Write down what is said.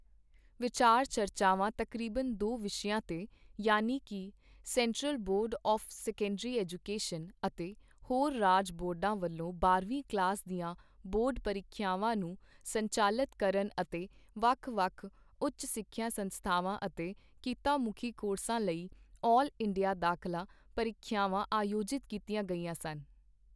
ਵਿਚਾਰ ਚਰਚਾਵਾਂ ਤਕਰੀਬਨ ਦੋ ਵਿਸ਼ਿਆਂ ਤੇ ਯਾਨੀਕੀ central board of secondary education ਅਤੇ ਹੋਰ ਰਾਜ ਬੋਰਡਾਂ ਵਲੋਂ ਬਾਰ੍ਹਵੀਂ ਕਲਾਸ ਦੀਆਂ ਬੋਰਡ ਪ੍ਰੀਖਿਆਵਾਂ ਨੂੰ ਸੰਚਾਲਤ ਕਰਨ ਅਤੇ ਵੱਖ-ਵੱਖ ਉੱਚ ਸਿੱਖਿਆ ਸੰਸਥਾਵਾਂ ਅਤੇ ਕਿੱਤਾ-ਮੁਖੀ ਕੋਰਸਾਂ ਲਈ ਆਲ ਇੰਡੀਆ ਦਾਖਲਾ ਪ੍ਰੀਖਿਆਵਾਂ ਆਯੋਜਿਤ ਕੀਤੀਆਂ ਗਈਆਂ ਸਨ।